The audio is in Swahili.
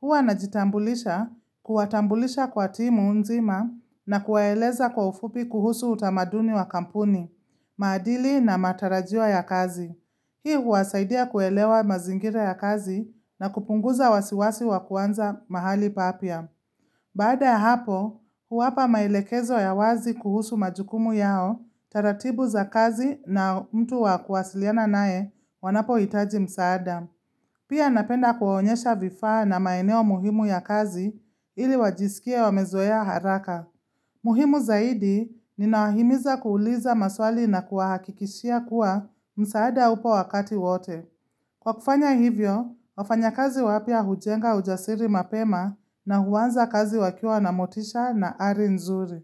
Hua najitambulisha kuwatambulisha kwa timu nzima na kuwaeleza kwa ufupi kuhusu utamaduni wa kampuni, mahadili na matarajio ya kazi. Hii huwasaidia kuelewa mazingire ya kazi na kupunguza wasiwasi wa kuanza mahali papya. Baada hapo, huwapa maelekezo ya wazi kuhusu majukumu yao, taratibu za kazi na mtu wa kuwasiliana nae wanapohitaji msaada. Pia napenda kuwaonyesha vifaa na maeneo muhimu ya kazi ili wajisikia wamezoea haraka. Muhimu zaidi, ninawahimiza kuuliza maswali na kuahakikishia kuwa msaada upo wakati wote. Kwa kufanya hivyo, wafanyakazi wapya hujenga ujasiri mapema na huanza kazi wakia na motisha na ari nzuri.